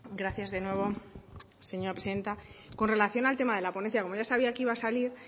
gracias de nuevo señora presidenta con relación al tema de la ponencia como ya sabía que iba a salir